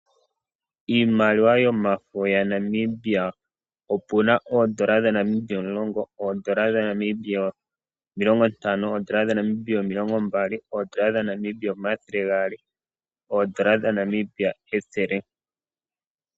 Iimaliwa yomafo yaNamibia, opuna oondola dhaNamibia omulongo, oondola dhaNamibia omilongontano, oondola dhaNamibia omilongombali, oondola dhaNamibia omathelegaali, oondola dhaNamibia ethele.